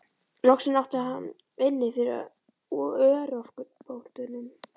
Loksins átti hann inni fyrir örorkubótunum.